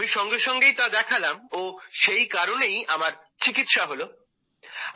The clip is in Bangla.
আমি সঙ্গে সঙ্গে তা দেখালাম ও সেই কারণেই আমার চিকিৎসা হলো